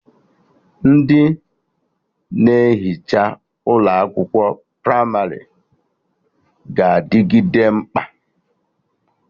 Ndị na-ehicha ụlọ akwụkwọ pramarị ga-adịgide mkpa